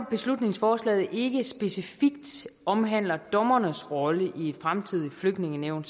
beslutningsforslaget ikke specifikt omhandler dommernes rolle i fremtidens flygtningenævn